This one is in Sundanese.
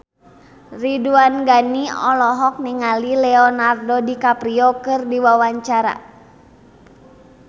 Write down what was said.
Ridwan Ghani olohok ningali Leonardo DiCaprio keur diwawancara